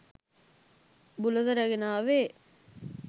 බුලත රැගෙන ආවේ